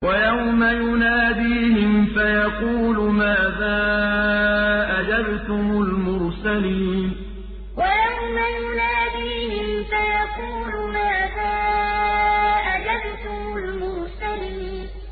وَيَوْمَ يُنَادِيهِمْ فَيَقُولُ مَاذَا أَجَبْتُمُ الْمُرْسَلِينَ وَيَوْمَ يُنَادِيهِمْ فَيَقُولُ مَاذَا أَجَبْتُمُ الْمُرْسَلِينَ